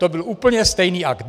To byl úplně stejný akt.